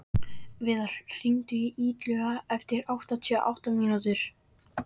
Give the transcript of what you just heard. Viðar, hringdu í Illuga eftir áttatíu og átta mínútur.